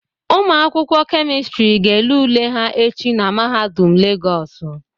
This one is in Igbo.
Ụmụ akwụkwọ Kemịstịrị ga ele ule ha echi na Mahadum Legọọsụ.